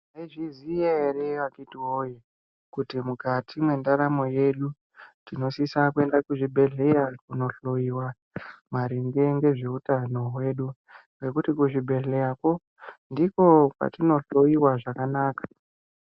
Meizviziya here akiti woye, kuti mukati mendaramo yedu tinosisa kuenda kuzvibhedhlera kundohloyiwa maringe ngezveutano hwedu, nekuti kuzvibhedhlerako ndiko kwatinohloyiwa zvakanaka.